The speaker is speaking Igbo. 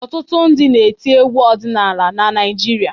Ọtụtụ ndị na-eti egwu ọdịnala na Naịjirịa.